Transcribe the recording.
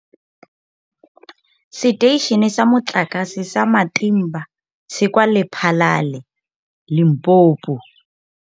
Seteišene sa Motlakase sa Matimba se kwa Lephalale, Limpopo.